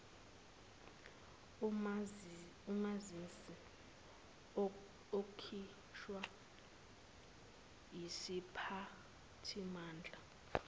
umazisi okhishwa yisiphathimandla